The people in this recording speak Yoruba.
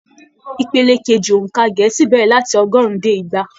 Ìpele keji óńka gẹẹsi bẹrẹ láti ọgọrùn dé igba.